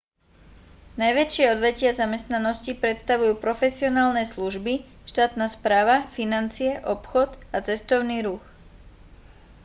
najväčšie odvetvia zamestnanosti predstavujú profesionálne služby štátna správa financie obchod a cestovný ruch